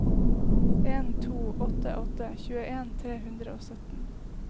en to åtte åtte tjueen tre hundre og sytten